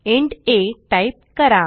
int a type करा